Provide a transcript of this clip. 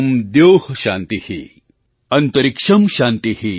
ॐ द्यौः शान्तिः अन्तरिक्षं शान्तिः